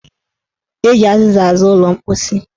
Eji azịza aza ụlọ mposi.